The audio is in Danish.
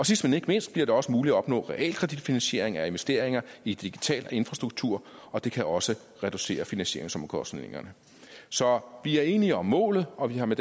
sidst men ikke mindst bliver det også muligt at opnå realkreditfinansiering af investeringer i digital infrastruktur og det kan også reducere finansieringsomkostningerne så vi er enige om målet og vi har med